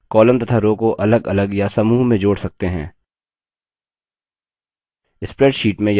columns तथा rows को अलगअलग या समूह में जोड़ सकते हैं